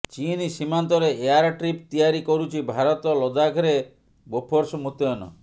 ଚୀନ୍ ସୀମାନ୍ତରେ air strip ତିଆରି କରୁଛି ଭାରତ ଲଦାଖରେ ବୋଫୋର୍ସ ମୁତୟନ